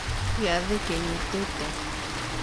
Gĩathĩ kĩnyitĩte.